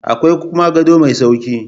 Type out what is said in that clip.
Akwai kuma gado mai sauƙi